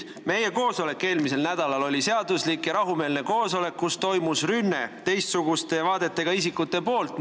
" Meie eelmise nädala koosolek oli seaduslik ja rahumeelne koosolek, kus toimus rünne teistsuguste vaadetega isikute poolt.